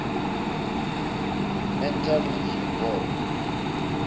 mental review board